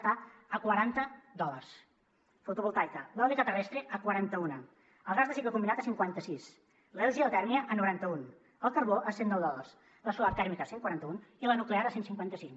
està a quaranta dòlars la fotovoltaica l’eòlica terrestre a quaranta un el gas de cicle combinat a cinquanta sis la geotèrmia a noranta un el carbó a cent nou dòlars la solar tèrmica a cent quaranta un i la nuclear a cent cinquanta cinc